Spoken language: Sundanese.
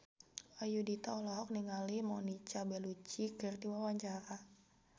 Ayudhita olohok ningali Monica Belluci keur diwawancara